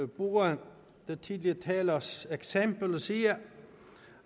bruge den tidligere talers eksempel og sige